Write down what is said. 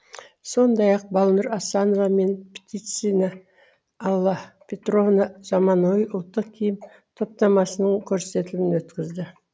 сондай ақ балнур асанова мен птицина алла петровна заманауи ұлттық киім топтамасының көрсетілімі өтті